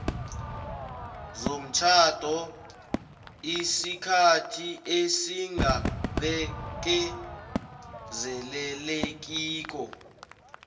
zomtjhado isikhathi esingabekezelelekiko